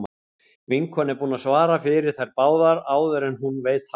Vinkonan er búin að svara fyrir þær báðar áður en hún veit af.